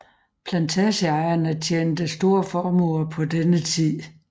Plantageejerne tjente store formuer på denne tid